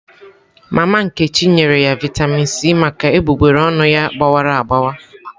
Mama nkechi nyere ya Vịatamin C maka egbugbere ọnụ ya gbawara agbawa.